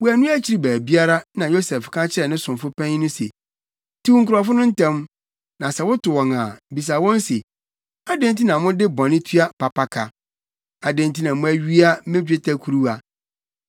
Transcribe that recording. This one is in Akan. Wɔannu akyiri baabiara, na Yosef ka kyerɛɛ ne somfo panyin no se, “Tiw nkurɔfo no ntɛm, na sɛ woto wɔn a, bisa wɔn se, ‘Adɛn nti na mode bɔne tua papa ka? Adɛn nti na moawia me dwetɛ kuruwa?